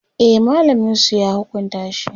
e mallamin su ya hukunta shi